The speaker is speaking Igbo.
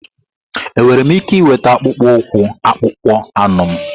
Enwere m ike ịnweta akpụkpọ ụkwụ akpụkpọ anụ m?